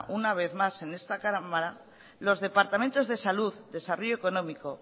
una vez más en esta cámara los departamentos de salud desarrollo económico